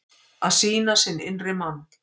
Að sýna sinn innri mann